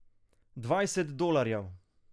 Dvajset dolarjev!